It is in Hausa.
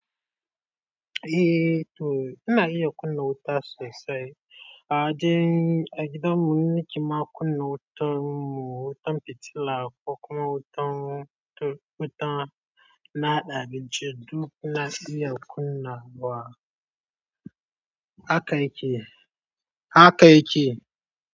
Eh to ina yi kunna wuta sosai. Aji, agidan mu ni ke ma kunna wutan mu. Wutan fitila, ko kuma wutan, wutan na haɗa abincin duk na iya kunna wa. Haka yake, haka yake.